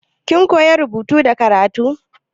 Kin koya rubutu da karatu?